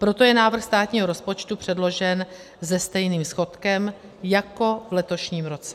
Proto je návrh státního rozpočtu předložen se stejným schodkem jako v letošním roce.